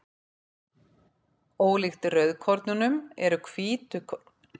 Ólíkt rauðkornunum eru hvítkornin með kjarna eins og flestar aðrar frumur.